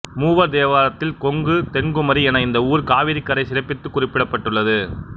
மூவர் தேவாரத்தில் கொங்கு தென்குமரி என இந்த ஊர் காவிரிக்கரை சிறப்பித்துக் குறிப்பிடப்பட்டுள்ளது